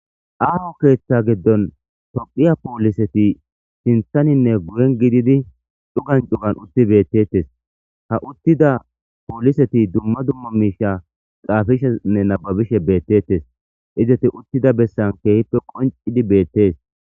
aaho keeththa giddon topiya pooliseti sinthaninne guyen gididi dhugan cugan utti beettettes ha uttida pooliseti dumma dumma miisha qaafishenne nababishe beettettes izati uttida bessan keehippe qoncidi beettees